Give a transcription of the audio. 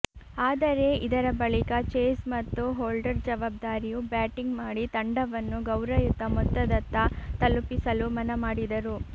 ಆದರೆ ಇದರ ಬಳಿಕ ಚೇಸ್ ಮತ್ತು ಹೊಲ್ಡರ್ ಜವಾಬ್ದಾರಿಯು ಬ್ಯಾಟಿಂಗ್ ಮಾಡಿ ತಂಡವನ್ನು ಗೌರಯುತ ಮೊತ್ತದತ್ತ ತಲುಪಿಸಲು ಮನ ಮಾಡಿದರು